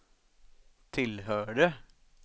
tillhörde